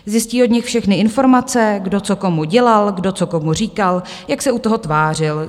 Zjistí od nich všechny informace, kdo co komu dělal, kdo co komu říkal, jak se u toho tvářil.